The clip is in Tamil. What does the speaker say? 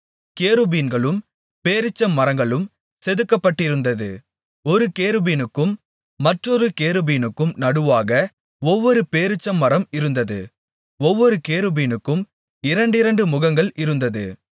கேருபீன்களும் பேரீச்சமரங்களும் செதுக்கப்பட்டிருந்தது ஒரு கேருபீனுக்கும் மற்றொரு கேருபீனுக்கும் நடுவாக ஒவ்வொரு பேரீச்சமரம் இருந்தது ஒவ்வொரு கேருபீனுக்கும் இரண்டிரண்டு முகங்கள் இருந்தது